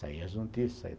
Saía as notícias.